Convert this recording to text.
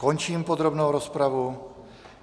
Končím podrobnou rozpravu.